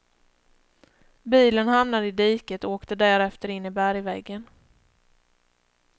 Bilen hamnade i diket och åkte därefter in i bergväggen.